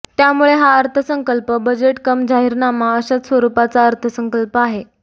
त्यामुळे हा अर्थसंकल्प बजेट कम जाहीरनामा अशाच स्वरूपाचा अर्थसंकल्प आहे